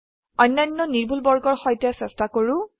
অন্যান্য নিৰ্ভুল বৰ্গৰ সৈতে চেষ্টা কৰো